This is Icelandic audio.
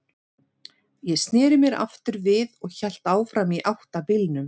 Ég sneri mér aftur við og hélt áfram í átt að bílnum.